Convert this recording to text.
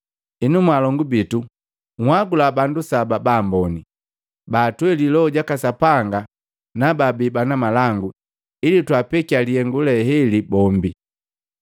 Henu mwalongu bitu nhagula bandu saba baamboni, baatweli Loho jaka Sapanga jaka Sapanga na baabi bana malangu ili twaapekiya lihengu le heli bombi.